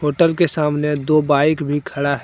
Hotel के सामने दो बाइक भी खड़ा है।